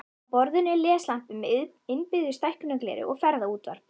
Á borðinu er leslampi með innbyggðu stækkunargleri og ferðaútvarp.